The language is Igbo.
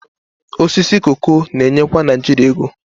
Osisi koko na-enyekwa Naijiria ego